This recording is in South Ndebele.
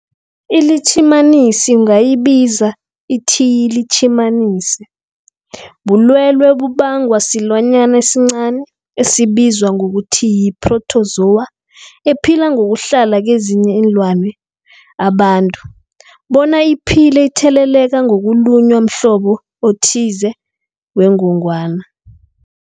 ILitjhimanisi ungayibiza uthiyilitjhimanisi, bulwelwe obubangwa silwanyana esincani esibizwa ngokuthiyi-phrotozowa ephila ngokuhlala kezinye iinlwana, abantu bona iphile itheleleka ngokulunywa mhlobo othize wengogwana.